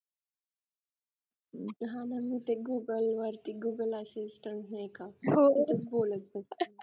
हा म्हणून ते google वरती google assistant नाही का बोलत बसते हा ना म्हणजे काय बोर झालं तर